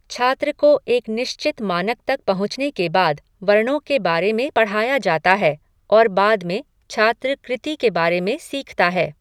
छात्र को एक निश्चित मानक तक पहुंचने के बाद, वर्णों के बारे में पढ़ाया जाता है और बाद में, छात्र कृति के बारे में सीखता है।